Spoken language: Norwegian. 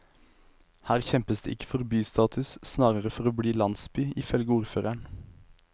Her kjempes det ikke for bystatus, snarere for å bli landsby, ifølge ordføreren.